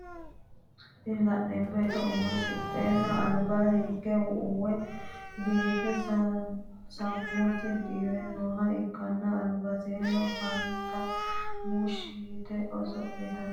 Tini la'neemo beetto umose woro qolte losixinohu alba hige uwe biife sammose diwe nooha ikkanna albaseno fante muushi yite oso'litanni noote.